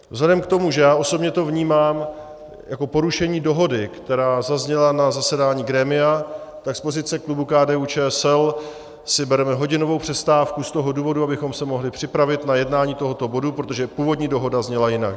Vzhledem k tomu, že já osobně to vnímám jako porušení dohody, která zazněla na zasedání grémia, tak z pozice klubu KDU-ČSL si bereme hodinovou přestávku z toho důvodu, abychom se mohli připravit na jednání tohoto bodu, protože původní dohoda zněla jinak.